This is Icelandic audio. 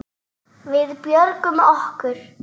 Við björgum okkur.